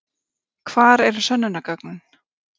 Hvar eru sönnunargögnin?